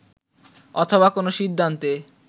অথবা কোনো সিদ্ধান্তে